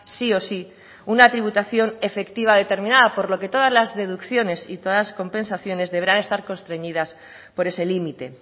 sí o sí una tributación efectiva determinada por lo que todas las deducciones y todas las compensaciones deberán estar constreñidas por ese límite